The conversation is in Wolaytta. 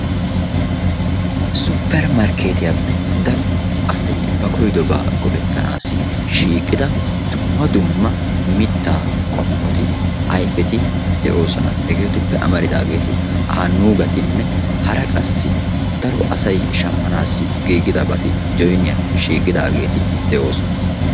Supper markeetiyappe daro asay ba koyidobaa go'ettanaasi shiiqida dumma dumma mittaa qommoti ayfeti de'oosona. Hegeetuppe amaridaageeti aannugatinne hara qassi daro asay shammanaassi giigidabati joyiniyan shiiqidageeti de'oosona.